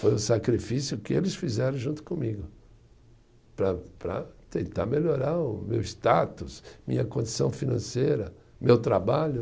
Foi o sacrifício que eles fizeram junto comigo para para tentar melhorar o meu status, minha condição financeira, meu trabalho.